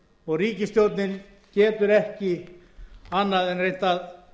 og ríkisstjórnin getur ekki annað en reynt að